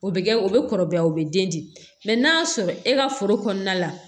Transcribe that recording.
O bɛ kɛ o bɛ kɔrɔbaya o bɛ den di n'a y'a sɔrɔ e ka foro kɔnɔna la